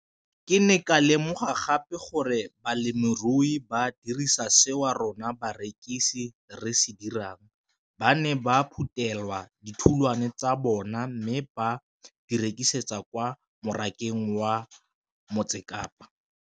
Ke ne ka lemoga gape gore balemirui ba dira seo rona barekisi re se dirang - ba ne ba phuthela ditholwana tsa bona mme ba di rekisa kwa marakeng wa Motsekapa.